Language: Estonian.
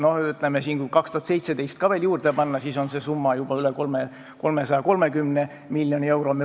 Kui 2017. aasta ka veel juurde panna, siis on see summa juba üle 330 miljoni euro.